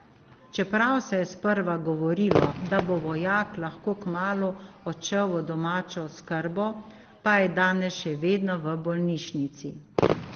Čeprav se je sprva govorilo, da bo vojak lahko kmalu odšel v domačno oskrbo, pa je danes še vedno v bolnišnici.